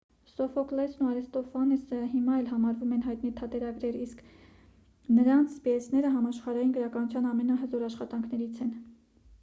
սոֆոկլեսը և արիստոֆանեսը հիմա էլ համարվում են հայտնի թատերագրեր իսկ նրանց պիեսները համաշխարհային գրականության ամենահզոր աշխատանքներից են